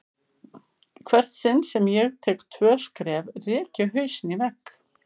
Í hvert sinn sem ég tek tvö skref rek ég hausinn í vegg.